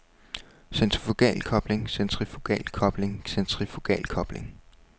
centrifugalkobling centrifugalkobling centrifugalkobling